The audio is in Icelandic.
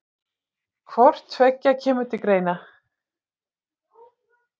Hvort tveggja kemur til greina.